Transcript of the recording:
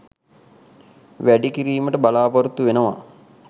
වැඩි කිරීමට බලා‍පොරොත්තු වෙනවා.